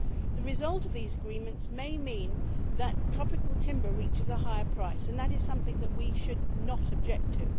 The result of these agreements may mean that tropical timber reaches a higher price, and that is something that we should not object to.